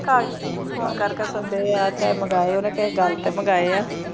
ਕਾਗਜ਼ phone ਕਰਕੇ ਸਦਿਆ ਚਾਹੇ ਮੰਗਾਏ ਉਹਨੇ ਕਿਸੇ ਗਲ ਤੇ ਮੰਗਾਇਆ